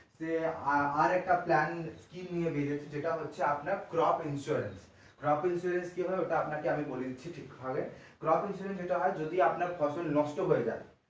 আরেকটা plan scheme বেরিয়েছে যেটা হচ্ছে আপনার crop insurancecrop insurance কি হয় ওটা আপনাকে আমি বলে দিচ্ছি কি হয় crop insurance যেটা হয় যদি আপনার ফসল নষ্ট হয়ে যায়,